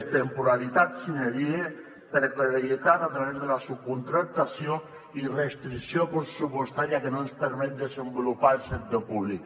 és temporalitat sine die precarietat a través de la subcontractació i restricció pressupostària que no ens permet desenvolupar el sector públic